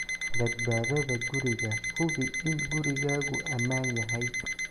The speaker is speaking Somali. "Badbaadada guriga Hubi in gurigaagu ammaan yahay.